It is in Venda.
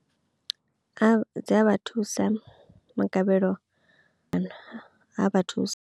A dzi a vha thusa magavhelo kana a vha thusa.